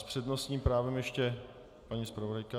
S přednostním právem ještě paní zpravodajka.